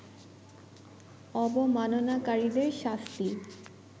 অবমাননাকারীদের শাস্তি